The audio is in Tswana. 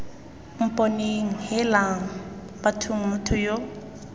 mponeng heelang bathong motho yo